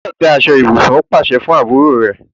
O gbúdọ̀ tẹ́ aṣọ ibùsùn! ó pàsẹ fún àbúrò rẹ̀.